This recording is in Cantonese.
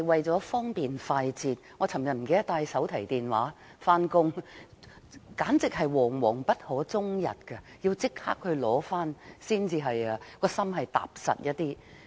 昨天，我忘了帶手提電話上班，簡直是惶惶不可終日，要立即取回內心才感到踏實。